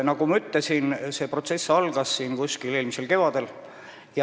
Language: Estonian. Nagu ma ütlesin, algas see protsess eelmisel kevadel.